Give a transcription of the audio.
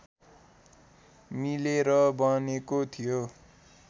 मिलेर बनेको थियो